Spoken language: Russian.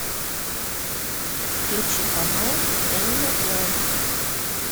включи канал энимал плэнет